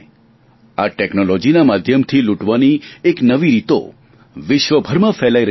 આ ટેકનોલોજીના માધ્યમથી લૂંટવાની એક નવી રીતો વિશ્વભરમાં ફેલાઈ રહી છે